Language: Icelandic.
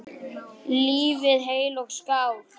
Lifið heil og skál!